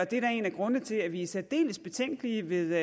det er da en af grundene til at vi er særdeles betænkelige ved